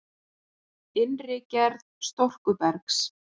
Innri gerð storkubergs